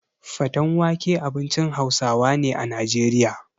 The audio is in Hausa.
Fatan wake abincin Hausawa ne a Najeriya.